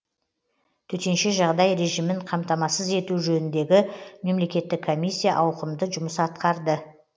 төтенше жағдай режимін қамтамасыз ету жөніндегі мемлекеттік комиссия ауқымды жұмыс атқарды